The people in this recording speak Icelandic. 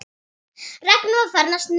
Ragnar var farinn að snökta.